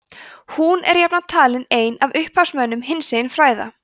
hún er jafnan talin ein af upphafsmönnum hinsegin fræða